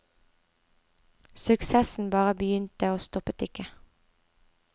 Suksessen bare begynte og stoppet ikke.